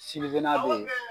Sini nan bɛ ye.